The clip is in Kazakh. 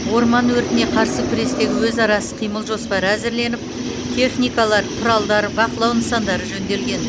орман өртіне қарсы күрестегі өзара іс қимыл жоспары әзірленіп техникалар құралдар бақылау нысандары жөнделген